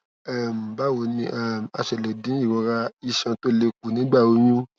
um báwo ni um a ṣe lè dín ìrora iṣan tó le kù nígbà oyún